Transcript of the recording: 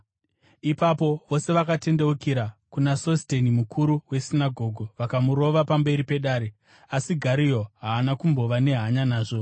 Ipapo vose vakatendeukira kuna Sosteni mukuru wesinagoge vakamurova pamberi pedare. Asi Gario haana kumbova nehanya nazvo.